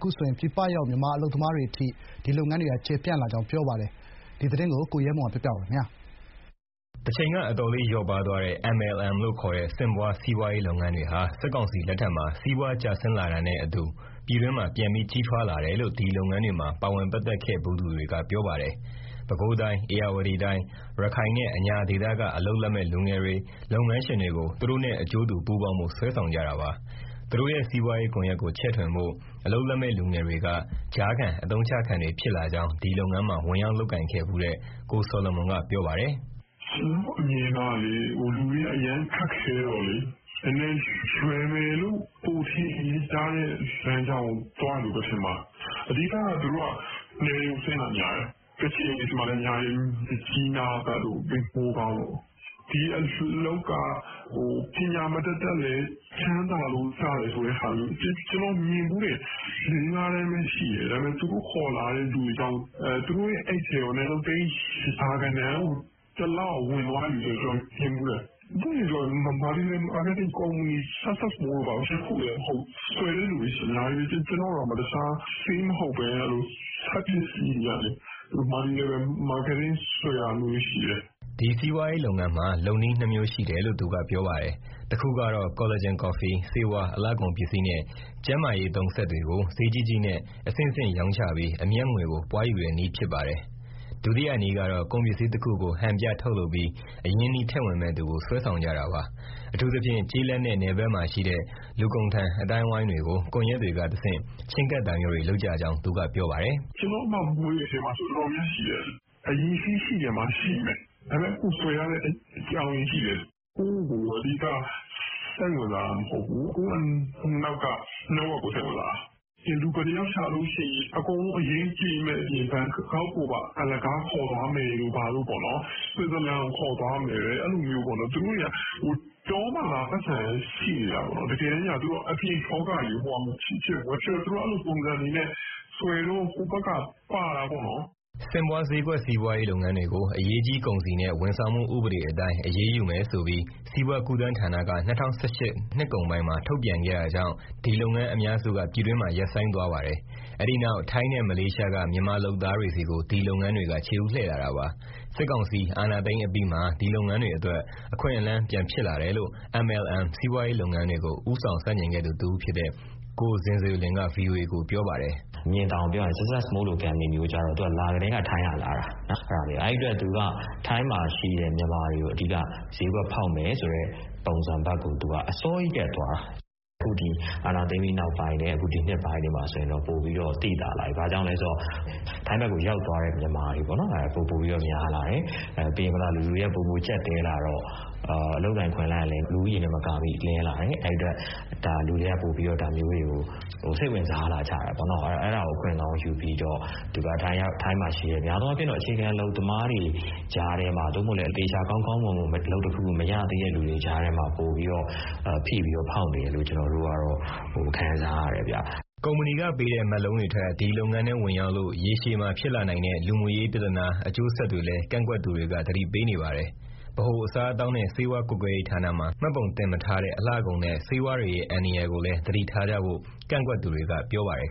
ခုဆိုရင် ပြည်ပရောက် မြန်မာအလုပ်သမားတွေအထိ ဒီလုပ်ငန်းတွေက ကျယ်ပြန့်လာကြောင်း ပြောပါတယ်။ ရန်ကုန်ကပေးပို့လာတဲ့ ဒီသတင်းကို အခြေခံပြီး ကိုရဲမွန်က ပြောပြမှာပါ။ တချိန်က အတော်လေး လျော့ပါးသွားတဲ့ MLM လို့ခေါ်တဲ့ ဆင့်ပွား စီးပွားရေးလုပ်ငန်းတွေဟာ စစ်ကောင်စီလက်ထက်မှာ စီးပွားကျဆင်းလာတာနဲ့အတူ ပြည်တွင်းမှာ ပြန်ပြီး ကြီးထွားလာတယ်လို့ ဒီလုပ်ငန်းတွေမှာ ပါဝင်ပတ်သက်ခဲ့ဖူးသူတွေက ပြောပါတယ်။ ပဲခူးတိုင်း၊ ဧရာဝတီတိုင်း၊ ပဲခူးတိုင်း၊ ရခိုင်နဲ့ အညာဒေသက အလုပ်လက်မဲ့လူငယ်တွေ၊ လုပ်ငန်းရှင်တွေကို သူတို့နဲ့ အကျိုးတူပူးပေါင်းဖို့ ဆွဲဆောင်ကြတာပါ။ သူတို့ရဲ့ စီးပွားရေးကွန်ရက်ကို ချဲ့ထွင်ဖို့ အလုပ်လက်မဲ့လူငယ်တွေက ကြားခံ အသုံးချခံတွေဖြစ်လာကြောင်း ဒီလုပ်ငန်းမှာ ဝင်ရောက် လုပ်ကိုင်ခဲ့ဖူးတဲ့ ကိုဆော်လမွန်က ပြောပါတယ်။ " ကျနော့်အမြင်အရ လူတွေက အရမ်းခက်ခဲတော့လေ လွယ်မယ်လို့ ပိုထင်ရတဲ့လမ်းကြောင်းကို သွားတယ်လို့ပဲ ထင်ပါတယ်။ အဓိကသူတို့က နယ်တွေကိုဆင်းတာ များတယ်၊ ကချင်မှာလည်း အများကြီးပဲ၊ မြစ်ကြီးနားဘက်တို့ မိုးကောင်းတို့။ ဒီအလုပ်က ပညာမတတ်လည်း ချမ်းသာလို့ရတယ် ဆိုတဲ့ဟာမျိုး။ ကျနော် မြင်ဖူးတယ် လေးငါးတန်းပဲရှိတယ် ဒါပေမဲ့ သူတို့ခေါ်လာတဲ့လူတွေကြောင့် သူတို့ရဲ့အိတ်ထဲကို အနည်းဆုံး သိန်းရာဂဏန်း တလကို ဝင်သွားတဲ့သူ မြင်ဖူးတယ်။ ပွင့်ပွင့်လင်းလင်းပြောရရင် multi-level marketing ကုမ္ပဏီက Success More တို့ဘာတို့ တခုတည်းမဟုတ်ဘူး၊ ဆွယ်တဲ့သူတွေ အများကြီးပဲ။ ကျနော့်ကိုတောင် ဆေးမဟုတ်ဘဲ စက်ပစ္စည်းတွေကနေ multi-level marketing ဆွယ်တာမျိုးတွေရှိတယ်။" ဒီစီးပွားရေးလုပ်ငန်းမှာ လုပ်နည်းနှစ်မျိုးရှိတယ်လို့ သူက ပြောပါတယ်။ တခုကတော့ ကော်လာဂျင်ကော်ဖီ၊ ဆေးဝါး၊ အလှကုန်ပစ္စည်းနဲ့ ကျန်းမာရေးသုံး စက်တွေကို ဈေးကြီးကြီးနဲ့ အဆင့်ဆင့်ရောင်းချပြီး အမြတ်ငွေကို ပွားယူတဲ့နည်းဖြစ်ပါတယ်။ ဒုတိယနည်းကတော့ ကုန်ပစ္စည်းတခုကို ဟန်ပြထုတ်လုပ်ပြီး အရင်းအနှီးထည့်ဝင်မယ့်သူကို ဆွဲဆောင်ကြတာပါ။ အထူးသဖြင့် ကျေးလက်နဲ့ နယ်ဘက်မှာရှိတဲ့ လူကုံတန် အသိုင်းအဝန်းတွေကို ကွန်ရက်တွေကတဆင့် ချဉ်းကပ်တာမျိုးတွေ လုပ်ကြကြောင်း သူကပြောပါတယ်။ " ကျနော့်အမမွေးတဲ့ အထဲမှာဆိုရင် တော်တော်များများရှိတယ် အရည်အချင်းရှိချင်မှ ရှိမယ် ဒါပေမဲ့ ကိုယ့်ကိုဆွယ်ရတဲ့ အကြောင်းအရင်းရှိတယ်၊ ကိုယ့်ကို အဓိက စိတ်ဝင်စားတာ မဟုတ်ဘူး၊ ကိုယ့်အနောက်က network ကို စိတ်ဝင်စားတာ။ လူဘယ်နှယောက် ရှာလို့ရှိရင် အကုန်လုံး အရင်းကြေမယ့်အပြင် ဘန်ကောက်ကိုပါ အလကားခေါ်သွားမယ်တို့ ဘာတို့၊ ဆွတ်ဇာလန်ကို ခေါ်သွားမယ်၊ အဲလိုမျိုး။ သူတို့က တောမှာသာ ပိုက်ဆံ ရှိနေတာပေါ့နော် တကယ်တမ်း အပြင်လောကကြီးကို ဟိုဟာ မဖြစ်တော့ သူတို့ အဲလိုပုံစံတွေနဲ့ ဆွယ်တော့ ဟိုဘက်က ပါတာပေါ့နော်။" ဆင့်ပွား ဈေးကွက်စီးပွားရေး လုပ်ငန်းတွေကို အရေးကြီးကုန်စည်နဲ့ ဝန်ဆောင်မှုဥပဒေအတိုင်း အရေးယူမယ်ဆိုပြီး စီးပွားကူးသန်းဌာက ၂၀၁၈ နှစ်ကုန်ပိုင်းမှာ ထုတ်ပြန်ခဲ့တာကြောင့် ဒီလုပ်ငန်းအများစုက ပြည်တွင်းမှာ ရပ်ဆိုင်းသွားပါတယ်။ အဲဒီနောက် ထိုင်းနဲ့ မလေးရှားက မြန်မာလုပ်သားတွေဆီကို ဒီလုပ်ငန်းတွေက ခြေဦး လှည့်ခဲ့တာပါ။ စစ်ကောင်စီ အာဏာသိမ်းအပြီးမှာ ဒီလုပ်ငန်းတွေအတွက် အခွင့်အလမ်း ပြန်ဖြစ်လာတယ်လို့ MLM စီးပွားရေးလုပ်ငန်းတွေကို ဦးဆောင်ဆန့်ကျင်ခဲ့သူ တဦးဖြစ်တဲ့ ကိုဇင်ဇေလွင်က ဗွီအိုအေကို ပြောပါတယ်။ " မြင်သာအောင်ပြောရရင် Success More လို ကုမ္ပဏီမျိုးက လာကတည်းက ထိုင်းကလာတာ၊ အဲဒီအတွက်သူက ထိုင်းမှာရှိတဲ့ မြန်မာတွေကို အဓိက ဈေးကွက်ဖောက်မယ်ဆိုတဲ့ ပုံစံဘက်ကို အစောကြီး ကတည်းကသွားတာ။ အခုအာဏာသိမ်းပြီးနောက်ပိုင်းနဲ့ ဒီနှစ်ပိုင်းမှာ ပိုပြီး သိသာလာပြီ၊ ဘာကြောင့်လဲဆိုတော့ ထိုင်းဘက်ကိုရောက်သွားတဲ့ မြန်မာတွေ ပိုပိုပြီးများလာတယ်၊ လူတွေက ပိုပိုကျပ်တည်းလာတော့ အလုပ်အကိုင် အခွင့်အလမ်းကလည်း လူဦးရေနဲ့မကာမိ နည်းလာတယ်။ အဲဒီအတွက် လူတွေကပိုပြီး ဒါမျိုးတွေကို စိတ်ဝင်စားလာကြတယ်ပေါ့။ အဲဒါကို အခွင့်ကောင်းယူပြီးတော့ ထိုင်းမှာရှိတဲ့ များသောအားဖြင့် အခြေခံ အလုပ်သမားတွေ ကြားထဲမှာ၊ သို့မဟုတ်လည်း သေချာ ကောင်းကောင်းမွန်မွန် အလုပ်တခု မရသေးတဲ့သူတွေ ကြားထဲမှာ ပိုပြီး၊ ဖိပြီးတော့ ဖောက်နေတယ်လို့ ကျနော်တို့ကတော့ ခံစားရတယ်ဗျ။" ကုမ္ပဏီကပေးတဲ့ မက်လုံးတွေထက် ဒီလုပ်ငန်းထဲ ဝင်ရောက်လို့ ရေရှည်မှာဖြစ်လာနိုင်တဲ့ လူမှုရေးပြဿနာ အကျိုးဆက်တွေလည်း ကန့်ကွက်သူတွေက သတိပေးနေပါတယ် ။ ဗဟိုအစားအသောက်နှင့် ဆေးဝါးကွပ်ကဲရေးဌာနမှာ မှတ်ပုံမတင်ထားတဲ့ အလှကုန်နဲ့ ဆေးဝါးတွေရဲ့ အန္တရာယ်ကိုလည်း သတိထားကြဖို့ ကန့်ကွက်သူတွေက ပြောပါတယ်